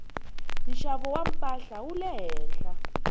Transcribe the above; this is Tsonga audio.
nxavo wa mpahla wu le henhla